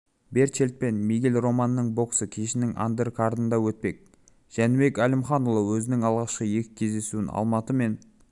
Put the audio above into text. берчельт пен мигель романның боксы кешінің андеркардында өтпек жәнібек әлімханұлы өзінің алғашқы екі кездесуін алматы мен